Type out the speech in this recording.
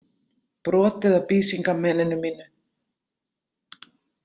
Brotið af Bísingameninu mínu!